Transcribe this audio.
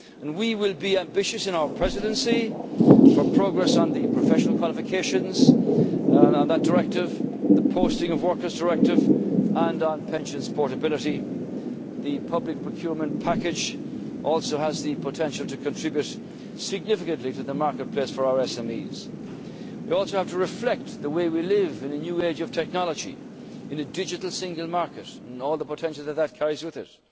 the single market. We will be ambitious in our Presidency for progress on the Professional Qualifications Directive, on the Posting of Workers Directive and on pensions portability, the Public Procurement Package also has the potential to contribute significantly to the marketplace for our SMEs. We also have to reflect the way we live in a new age of technology in a digital Single Market and all the potential that this